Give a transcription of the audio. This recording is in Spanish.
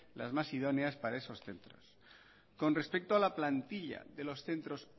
las más idóneas para esos centros con respecto a la plantilla de los centros